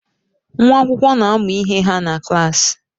Nwa akwụkwọ na-amụ ihe ha na klaasị.